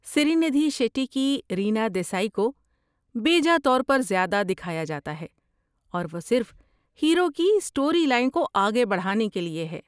سری ندھی شیٹی کی رینا دیسائی کو بیجا طور پر زیادہ دکھایا جاتا ہے اور وہ صرف ہیرو کی اسٹوری لائن کو آگے بڑھانے کے لیے ہے۔